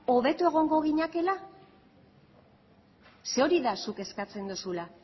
hobeto egongo ginatekeela zeren hori da zuk eskatzen duzuna